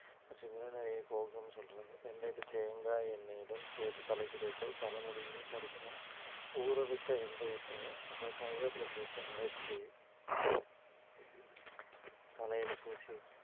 மற்றும் இளநரையைப் போக்கும்னு சொல்றாங்க வெந்தையத்தை தேங்காய் எண்ணெயுடன் சேர்த்து தலைக்கு தேய்த்தால் தலைமுடி உதிர்வை தடுக்குமாம் ஊற வைத்த வெந்தயத்தை அப்புறம் கருவேப்பிலை சேர்த்து அரைச்சு தலையில பூசி